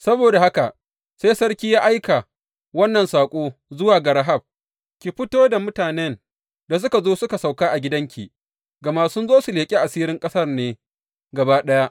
Saboda haka sai sarki ya aika wannan saƙo zuwa ga Rahab, Ki fito da mutanen da suka zo suka sauka a gidanki, gama sun zo su leƙi asirin ƙasar ne gaba ɗaya.